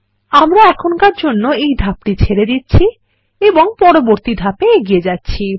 আমরা এখনকার জন্য এই ধাপটি ছেড়ে দিচ্ছি এবং পরবর্তী ধাপে এগিয়ে যাচ্ছি